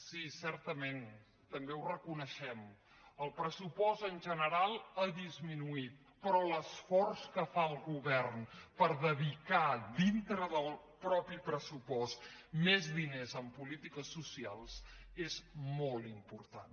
sí certament també ho reconeixem el pressupost en general ha disminuït però l’esforç que fa el govern per dedicar dintre del mateix pressupost més diners en polítiques socials és molt important